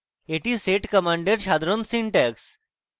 এটি sed command সাধারণ syntax